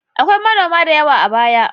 Akwai manoma da yawa a baya.